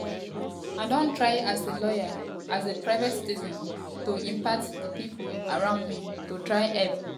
i don try as a lawyer as a private citizen to to impact di pipo around me to try help